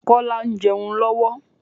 Kola ń jẹun lọ́wọ́